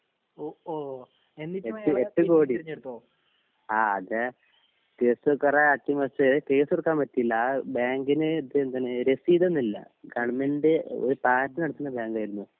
എട്ട് എട്ട് കോടി ആത് കേസ് കൊറേ അട്ടിമറിച്ച് കേസ് ഇട്ക്കാൻ പറ്റില്ല ആ ബാങ്കിന് ഇത് എന്താണ് രസീതോന്നില്ല ഗവണ്മെന്റ് ഒര് പാർട്ടി നടത്തിണ ബാങ്കായിരുന്നു